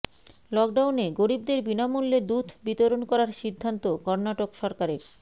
লকডাউনে গরিবদের বিনামূল্যে দুধ বিতরণ করার সিদ্ধান্ত কর্ণাটক সরকারের